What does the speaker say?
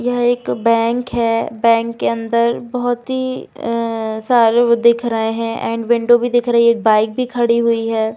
यह एक बैंक है बैंक के अंदर बहोत ही अ अ सारे वो दिख रहे है एण्ड विंडो भी दिख रही है एक बाइक भी खड़ी हुई है।